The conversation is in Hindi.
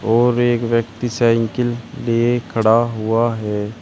और एक व्यक्ति साइकिल लिए खड़ा हुआ है।